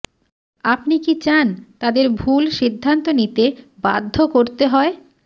আপনি কি চান তাদের ভুল সিদ্ধান্ত নিতে বাধ্য করতে হয়